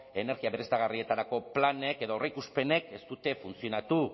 energia berriztagarrietarako planek edo aurreikuspenek ez dute funtzionatu